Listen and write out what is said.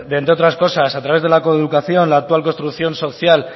entre otras cosas a través de la coeducacion la actual construcción social